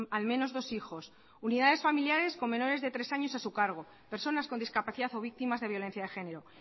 al menos dos hijos unidades familiares con menores de tres años a su cargo personas con discapacidad o víctimas de violencia de genero